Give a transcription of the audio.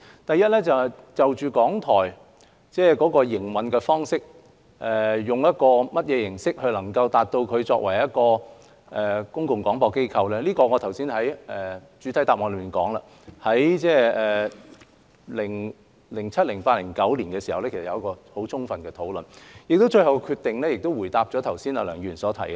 第一，關於港台以甚麼營運方式來擔當其作為公共擴播機構的角色，我剛才在主體答覆已說過，當局在2007年、2008年和2009年進行過很充分的討論，而最後的決定剛好回答梁議員的問題。